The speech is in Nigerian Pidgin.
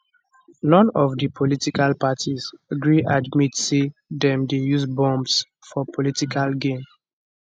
none of di political parties gree admit say dem dey use bombs for political gain